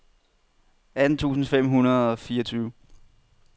atten tusind fem hundrede og fireogtyve